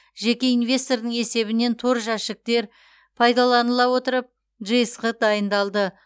жеке инвестордың есебінен тор жәшіктер пайдаланыла отырып жсқ дайындалды